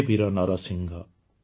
ହେ ବୀର ନରସିଂହ